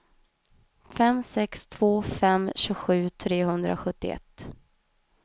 fem sex två fem tjugosju trehundrasjuttioett